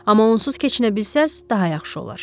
Amma onsuz keçinə bilsəz, daha yaxşı olar.